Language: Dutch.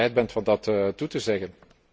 Ik hoop dat u bereid bent dat toe te zeggen.